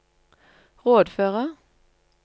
rådføre